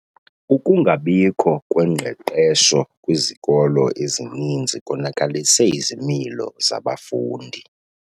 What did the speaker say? Ukungabikho kwengqeqesho kwizikolo ezininzi konakalise izimilo zabafundi.